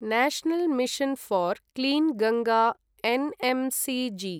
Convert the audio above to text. national mission for clean Ganga NMCG